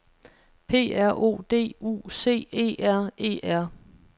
P R O D U C E R E R